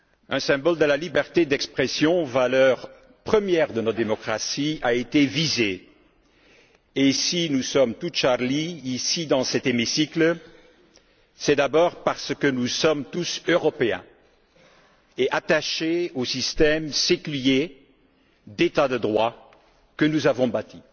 Un symbole de la liberté d'expression, valeur première de notre démocratie, a été visé, et si nous sommes tous Charlie, ici dans cet hémicycle, c'est d'abord parce que nous sommes tous Européens et attachés au système séculier d'état de droit que nous avons bâti.